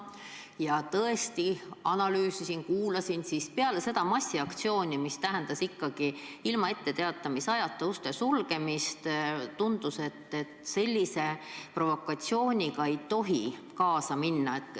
Ma tõesti analüüsisin olukorda, kuulasin arvamusi, aga peale seda massiaktsiooni, mis tähendas ilma etteteatamisajata uste sulgemist, tundus, et sellise provokatsiooniga ei tohi kaasa minna.